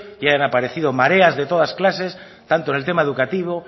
y han aparecido mareas de todas clases tanto en tema educativo